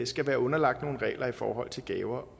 skal være underlagt nogle regler i forhold til gaver